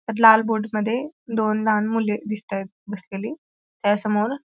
त्यात लाल बोट मध्ये दोन लहान मुले दिसतायत बसलेली त्यासमोर--